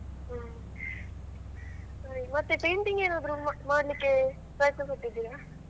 ಹ್ಮ್ ಮತ್ತೆ painting ಏನಾದ್ರು ಮಾಡ್ಲಿಕ್ಕೆ ಪ್ರಯತ್ನ ಪಟ್ಟಿದ್ದೀಯಾ?